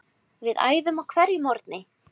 Við æfðum á hverjum morgni.